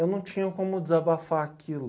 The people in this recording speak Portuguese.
Eu não tinha como desabafar aquilo.